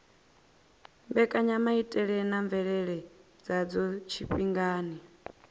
mbekanyamaitele na mvelele dzadzo tshifhingani